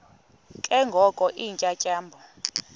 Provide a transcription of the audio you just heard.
ke ngoko iintyatyambo